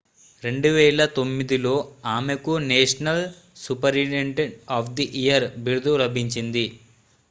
2009 లో ఆమెకు national superintendent of the year బిరుదు లభించింది